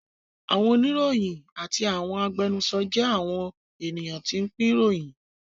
Àwọn oníròyìn àti àwọn agbẹnusọ jẹ́ àwọn ènìyàn tí ń pín ìròyìn